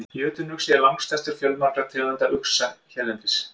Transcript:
Jötunuxi er langstærstur fjölmargra tegunda uxa hérlendis.